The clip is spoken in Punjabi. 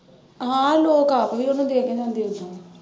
ਹਾਂ ਲੋਕ ਆਪ ਵੀ ਉਹਨੂੰ ਦੇ ਕੇ ਜਾਂਦੇ ਓਦਾਂ।